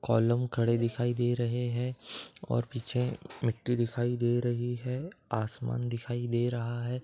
Column खड़े दिखाई दे रहे हैं और पीछे मिट्टी दिखाई दे रही है। आसमान दिखाई दे रहा है।